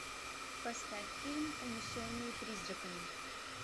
поставь фильм унесенные призраками